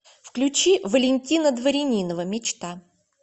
включи валентина дворянинова мечта